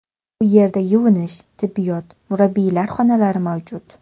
Bu yerda yuvinish, tibbiyot, murabbiylar xonalari mavjud.